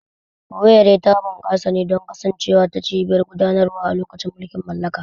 Owerri ta bunƙasa ne don kasancewar ta cibiyar gudanarwa a lokacin mulkin mallaka.